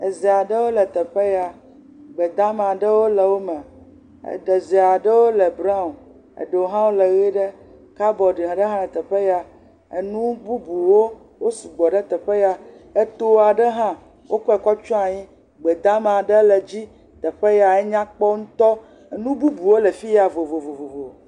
eze aɖewo le teƒe ya gbe damawo le wó me ezeaɖewo le brown eɖewo hã wóle yiɖe kabɔɖiaɖe hã le teƒe ya enu bubuwo wó sugbɔ ɖe teƒe ya eto aɖe hã le wó kɔe kɔ tsɔ anyi gbe dama ɖe le dzi teƒe ya enyakpɔ ŋtɔ nububuwo le fiya vovovo